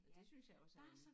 Og det synes jeg også er en